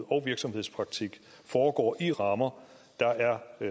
og virksomhedspraktik foregår i rammer der er